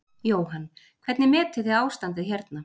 Jóhann: Hvernig metið þið ástandið hérna?